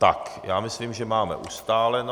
Tak, já myslím, že máme ustáleno.